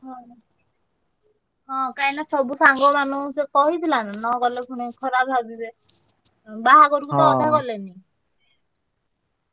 ହଁ ତ ମୁଁ ଦେ~ ଖେ~ ଗୋଟେ କାମ କରିଆ ଉଁ ଉଁ ତମେ ସବୁ କଣ bike ହଁ ହଁ କାହିଁକିନା ସବୁ ସାଙ୍ଗମାନଙ୍କୁ ସେ କହିଥିଲା ନା ନଗଲେ ପୁଣି ଖରାପ ଭାବିବେ। ବାହାଘରକୁ ତ ଅଧା ଗଲେନି।